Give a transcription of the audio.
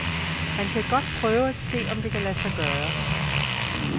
Han kan godt prøve at se, om det kan lade sig gøre.